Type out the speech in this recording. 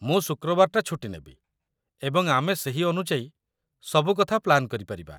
ମୁଁ ଶୁକ୍ରବାରଟା ଛୁଟି ନେବି, ଏବଂ ଆମେ ସେହି ଅନୁଯାୟୀ ସବୁ କଥା ପ୍ଲାନ୍ କରିପାରିବା।